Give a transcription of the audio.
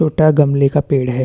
छोटा गमले का पेड़ है।